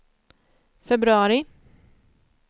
februari